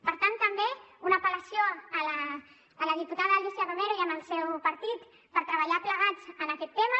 per tant també una apel·lació a la diputada alícia romero i al seu partit per treballar plegats en aquest tema